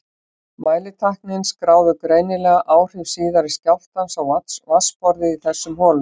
Mælitækin skráðu greinilega áhrif síðari skjálftans á vatnsborðið í þessum holum.